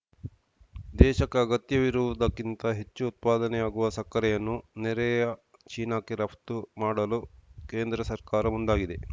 ದೇಶಕ್ಕೆ ಅಗತ್ಯವಿರುವುದಕ್ಕಿಂತ ಹೆಚ್ಚು ಉತ್ಪಾದನೆಯಾಗುವ ಸಕ್ಕರೆಯನ್ನು ನೆರೆಯ ಚೀನಾಕ್ಕೆ ರಫ್ತು ಮಾಡಲು ಕೇಂದ್ರ ಸರ್ಕಾರ ಮುಂದಾಗಿದೆ